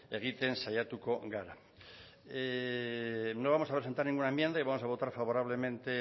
egiten saiatuko gara no vamos a presentar ninguna enmienda y vamos a votar favorablemente